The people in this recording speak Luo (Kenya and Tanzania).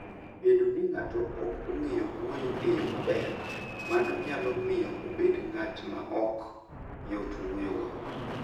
Bedo ni ng'ato ok ong'eyo wuoyo e yo maber, mano nyalo miyo obed ng'at maok yot wuoyogo.